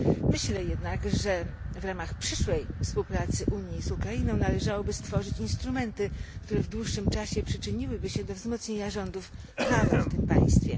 Myślę jednak, że w ramach przyszłej współpracy Unii z Ukrainą należałoby stworzyć instrumenty, które w dłuższym czasie przyczyniłyby się do wzmocnienia rządów prawa w tym państwie.